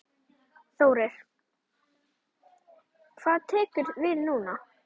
Þórir: Hvað tekur við núna?